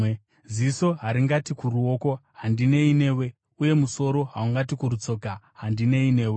Ziso haringati kuruoko, “Handinei newe!” Uye musoro haungati kurutsoka, “Handinei newe!”